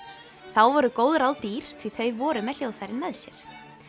þá voru góð ráð dýr því þau voru með hljóðfærin með sér